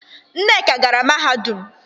Nneka gara mahadum.